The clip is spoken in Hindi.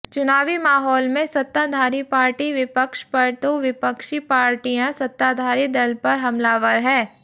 चुनावी माहौल में सत्ताधारी पार्टी विपक्ष पर तो विपक्षी पार्टियां सत्ताधारी दल पर हमलावर है